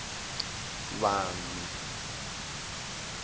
vanhu